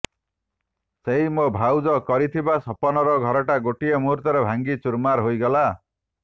ସେହି ମୋ ଭାଉଜ କରିଥିବା ସପନର ଘରଟା ଗୋଟିଏ ମୁହୂର୍ତ୍ତରେ ଭାଙ୍ଗି ଚୁରମାର ହୋଇଗଲା